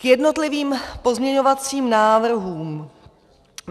K jednotlivým pozměňovacím návrhům.